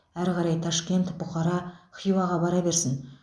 әрі қарай ташкент бұқара хиуаға бара берсін